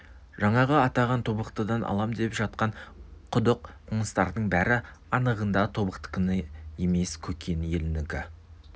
жаңағы атаған тобықтыдан алам деп жатқан құдық қоныстардың бәрі анығында тобықтыныкі емес көкен елінікі